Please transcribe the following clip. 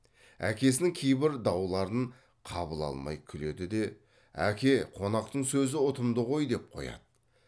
әкесінің кейбір дауларын қабыл алмай күледі де әке қонақтың сөзі ұтымды ғой деп қояды